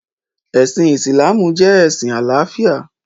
Ẹ̀sìn Ìsìlámù jẹ́ ẹ̀sìn àláfíà.